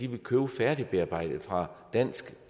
vil købe færdigbearbejdet fra danske